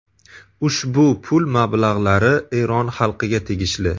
Ushbu pul mablag‘lari Eron xalqiga tegishli.